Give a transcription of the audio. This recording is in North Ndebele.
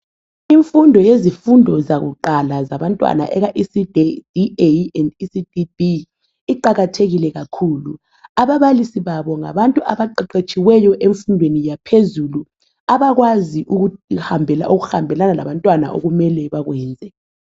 Imfundo yezifundo zebanga eliphansi ezabantwana iqakathekile kakhulu, ababalisi babo ngabantu abaqeqetshiweyo emfundweni yaphezulu abakwaziyo okuhambelana labantwana okumele bakwenze